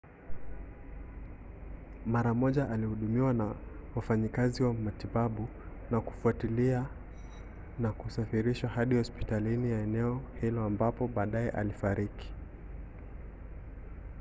mara moja alihudumiwa na wafanyikazi wa matibabu ya kufuatilia na kusafirishwa hadi hospitali ya eneo hilo ambapo baadaye alifariki